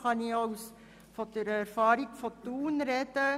Diesbezüglich kann ich aus den Erfahrungen von Thun sprechen.